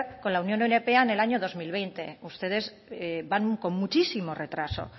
con la unión europea en el año dos mil veinte ustedes van con muchísimo retraso